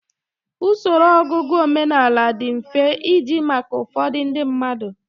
Usoro ọgụgụ omenala di mfe iji maka ụfọdụ ndị mmadụ.